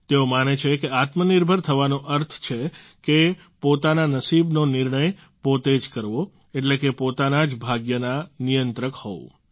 તેઓ માને છે કે આત્મનિર્ભર થવાનો અર્થ છે કે પોતાના નસીબનો નિર્ણય પોતે જ કરવો એટલે કે પોતાના જ ભાગ્યના નિયંત્રક હોવું